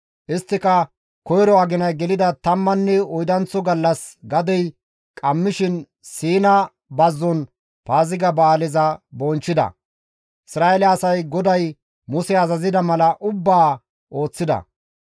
Isttika koyro aginay gelida tammanne oydanththo gallas gadey qammishin Siina bazzon Paaziga ba7aaleza bonchchida; Isra7eele asay GODAY Muse azazida mala ubbaa ooththida.